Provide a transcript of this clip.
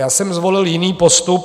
Já jsem zvolil jiný postup.